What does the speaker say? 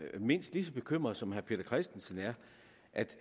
er mindst lige så bekymret som herre peter christensen er altså